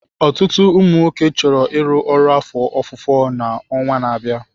Ọtụtụ ụmụ nwoke chọrọ ịrụ ọrụ afọ ofufo na ọnwa na-abịa.